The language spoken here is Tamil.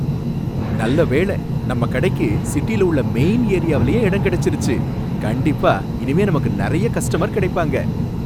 நல்ல வேளை! நம்ம கடைக்கு சிட்டில உள்ள மெயின் ஏரியாவுலயே இடம் கிடைச்சிருச்சு. கண்டிப்பா இனிமே நமக்கு நிறைய கஸ்டமர் கிடைப்பாங்க.